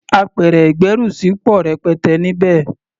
Apẹ̀rẹ̀ ìgbẹ́rùsí pọ̀ rẹpẹtẹ níbẹ̀.